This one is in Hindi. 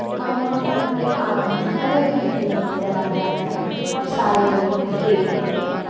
और यहां पर एक आदमी कलर भरते हुए नजर आ रहा है और सारे लोग देख रहे हैं।